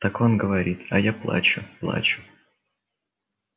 так он говорит а я плачу плачу